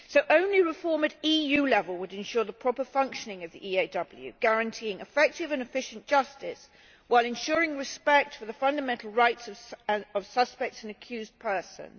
Only reform at EU level would ensure the proper functioning of the EAW, guaranteeing effective and efficient justice, while ensuring respect for the fundamental rights of suspects and accused persons.